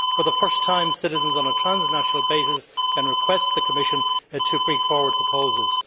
For the first time, citizens on a transnational basis can request that the Commission bring forward proposals.